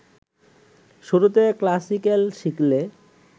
শুরুতে ক্লাসিক্যাল শিখলে